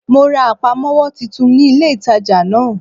Mo ra àpamówó titun ní ilé ìtajà náà